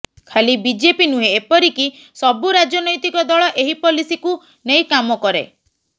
ଖାଲି ବିଜେପି ନୁହେଁ ଏପରିକି ସବୁ ରାଜନୈତିକ ଦଳ ଏହି ପଲିସିକୁ ନେଇ କାମ କରେ